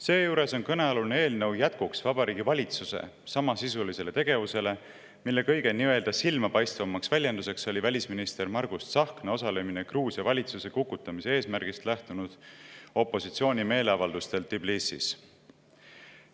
Seejuures on kõnealune eelnõu jätkuks Vabariigi Valitsuse samasisulisele tegevusele, mille kõige nii-öelda silmapaistvam väljendus oli välisminister Margus Tsahkna osalemine Gruusia valitsuse kukutamise eesmärgist lähtunud opositsiooni meeleavaldustel Tbilisis.